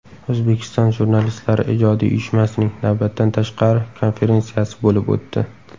O‘zbekiston Jurnalistlari ijodiy uyushmasining navbatdan tashqari konferensiyasi bo‘lib o‘tdi.